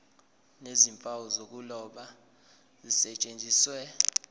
nezimpawu zokuloba zisetshenziswe